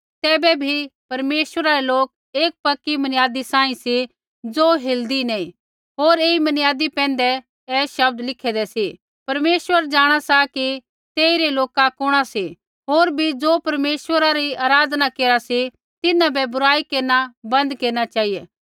तैबै भी परमेश्वरा रै लोक एक पक्की मनियादी सांही सी ज़ो हिलदी नैंई होर ऐई मनियादी पैंधै ऐ शब्द लिखदै सी परमेश्वर जाँणा सा की तेइरै लोका कुणा सी होर भी ज़ो परमेश्वरा री आराधना केरा सी तिन्हां बै बुराई केरना बन्द केरना चेहिऐ